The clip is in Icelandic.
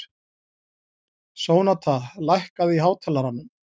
Sónata, lækkaðu í hátalaranum.